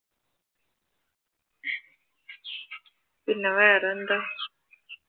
പിന്നെ വേറെന്താ?